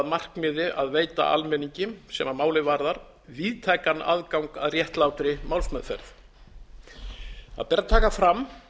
markmiði að veita almenningi sem málið varðar víðtækan aðgang að réttlátri málsmeðferð það ber að taka fram